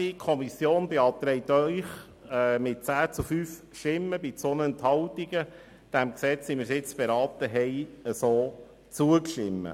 Die Kommission beantragt Ihnen mit 10 zu 5 Stimmen bei 2 Enthaltungen, dem Gesetz, wie wir es nun beraten haben, zuzustimmen.